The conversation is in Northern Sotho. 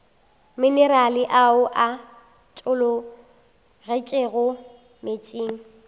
minerale ao a tologetšego meetseng